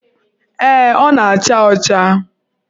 Ee, ọ na-acha ọcha.